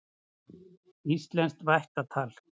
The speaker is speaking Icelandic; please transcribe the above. Íslenskt vættatal.